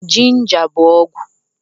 jinja bú ọgwụ